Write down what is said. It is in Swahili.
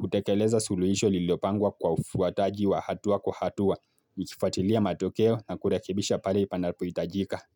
kutekeleza suluhisho lililopangwa kwa ufuataji wa hatua kwa hatua. Nikifuatilia matokeo na kurekibisha pale panapo hitajika.